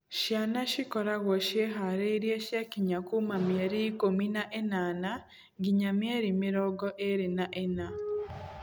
Ciana cikoragwo ciĩharĩrĩirie ciakinyia kuma mĩeri ikũmi na ĩnana nginya mĩeri mĩrongo ĩrĩ na ĩna.